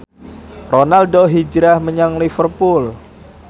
Ronaldo hijrah menyang Liverpool